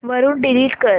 वरून डिलीट कर